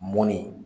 Mɔni